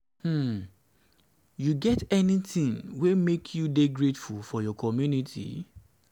um you get anything wey make you dey grateful for your community? um